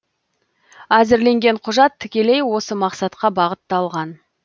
әзірленген құжат тікелей осы мақсатқа бағытталған